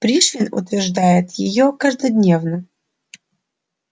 пришвин утверждает её каждодневно